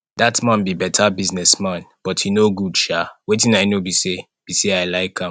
dat man be beta business man but e no good sha wetin i know be say be say i like am